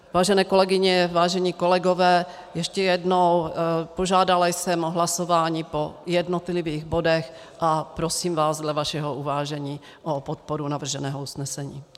Vážené kolegyně, vážení kolegové, ještě jednou, požádala jsem o hlasování po jednotlivých bodech a prosím vás dle vašeho uvážení o podporu navrženého usnesení.